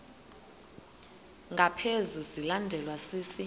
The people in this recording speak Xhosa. ngaphezu silandelwa sisi